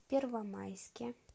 первомайске